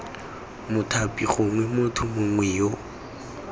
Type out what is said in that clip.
mothapi gongwe motho mongwe yo